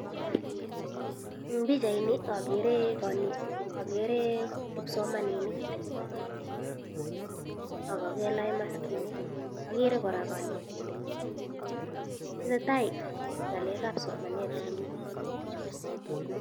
En pichaini akere kipsomaninik, ak kelach maskinik, akere kora kanetindet, netai ngalek ab somenat en yu.